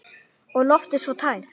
Og loftið svo tært.